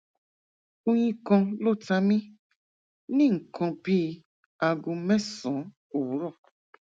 oyin kan ló ta mi ní nǹkan bí aago mẹsànán òwúrọ